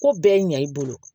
Ko bɛɛ ɲa i bolo